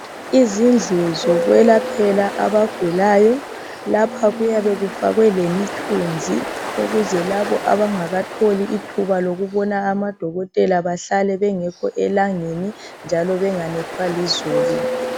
Izindlu zokwelaphela abagulayo lapha kuyabe kufakwe lemjthunzi ukuze labo abangakatholi ithuba lokubona amadokotela bahlale bengekho elangeni njalo benganethwa lizulu.